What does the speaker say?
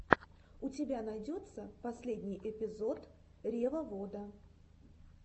у тебя найдется последний эпизод ревовода